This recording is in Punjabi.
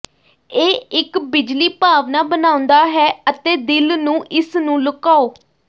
ਇਹ ਇੱਕ ਬਿਜਲੀ ਭਾਵਨਾ ਬਣਾਉਦਾ ਹੈ ਅਤੇ ਦਿਲ ਨੂੰ ਇਸ ਨੂੰ ਲੁਕਾਓ